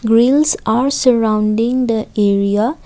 railings are surrounding the area.